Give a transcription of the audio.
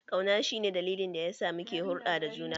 Kauna shi ne dalilin da yasa muke hulɗa da juna.